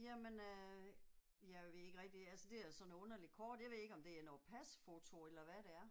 Jamen øh, jeg ved ikke rigtig altså det er sådan noget underlig kort jeg ved ikke om det er noget pasfoto eller hvad det er